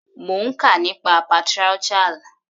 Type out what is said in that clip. Mo ń kà nípa patriarchal.